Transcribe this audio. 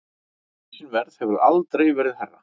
Bensínverð hefur aldrei verið hærra